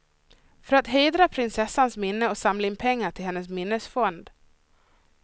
För att hedra prinsessans minne och samla in pengar till hennes minnesfond.